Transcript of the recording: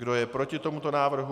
Kdo je proti tomuto návrhu?